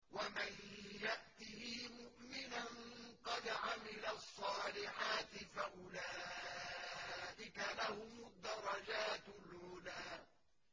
وَمَن يَأْتِهِ مُؤْمِنًا قَدْ عَمِلَ الصَّالِحَاتِ فَأُولَٰئِكَ لَهُمُ الدَّرَجَاتُ الْعُلَىٰ